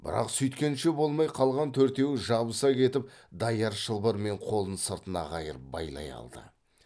бірақ сүйткенше болмай қалған төртеуі жабыса кетіп даяр шылбырмен қолын сыртына қайырып байлай алды